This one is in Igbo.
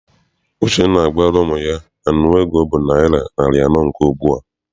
Uchenna agwara ụmụ ya na nnu ego bụ naịra narị anọ nke ugbua?